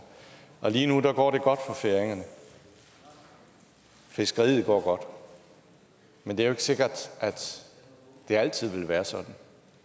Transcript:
og lige nu går det godt for færingerne fiskeriet går godt men det er ikke sikkert at det altid vil være sådan